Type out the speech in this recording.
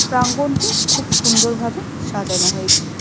প্রাঙ্গনটি খুব সুন্দর ভাবে সাজানো হয়েছে।